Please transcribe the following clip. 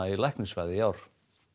í læknisfræði í ár